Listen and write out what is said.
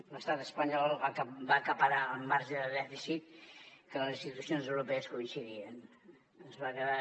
l’estat espanyol va acaparar el marge de dèficit en què les institucions europees coincidien es va quedar